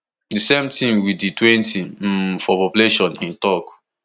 di same tin wit di twenty um for population e tok